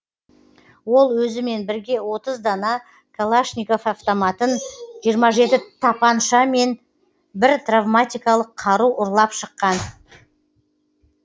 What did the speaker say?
ол өзімен бірге отыз дана калашников автоматын жиырма жеті тапанша мен бір травматикалық қару ұрлап шыққан